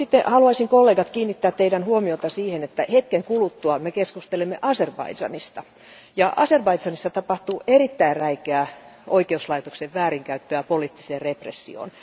Haluaisin kollegat kiinnittää teidän huomionne siihen, että hetken kuluttua me keskustelemme Azerbaidžanista ja Azerbaidžanissa tapahtuu erittäin räikeää oikeuslaitoksen väärinkäyttöä poliittiseen repressioon.